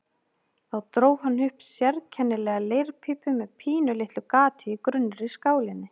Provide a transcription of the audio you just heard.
Þá dró hann upp sérkennilega leirpípu með pínulitlu gati í grunnri skálinni.